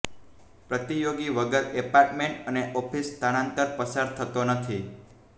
પ્રતિયોગી વગર એપાર્ટમેન્ટ અને ઓફિસ સ્થળાંતર પસાર થતો નથી